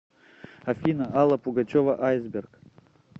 афина алла пугачева айсберг